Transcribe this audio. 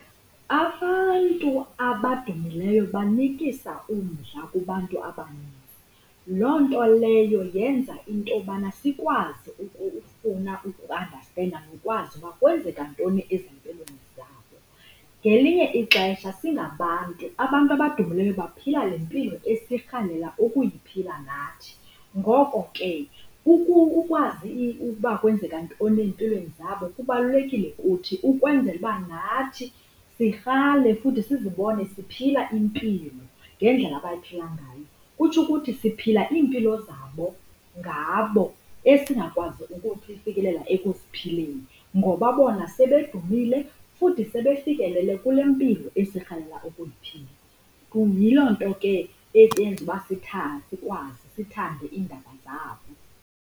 Abantu abadumileyo banikisa umdla kubantu abaninzi. Loo nto leyo yenza intobana sikwazi ukufuna ukuandastenda nokwazi uba kwenzeka ntoni ezimpilweni zabo. Ngelinye ixesha singabantu abantu abadumileyo baphila le mpilo esirhalela ukuyiphila nathi. Ngoko ke ukwazi uba kwenzeka ntoni ezimpilweni zabo kubalulekile kuthi ukwenzela uba nathi sirhale futhi sizibone siphila impilo ngendlela abayiphila ngayo. Kutsho ukuthi siphila iimpilo zabo ngabo esingakwazi ukufikelela ekuziphileni, ngoba bona sebedumile futhi sebefikelele kule mpilo esirhalela ukuyiphila. Kum yiloo nto ke eyenza uba sikwazi, sithande iindaba zabo.